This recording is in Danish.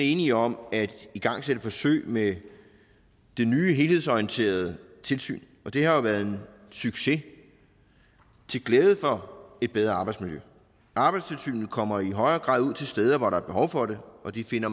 enige om at igangsætte et forsøg med det nye helhedsorienterede tilsyn og det har jo været en succes til glæde for et bedre arbejdsmiljø arbejdstilsynet kommer i højere grad ud til steder hvor der er behov for det og de finder